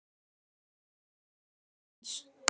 Það var Oddur sonur hans.